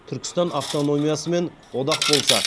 түркістан автономиясымен одақ болса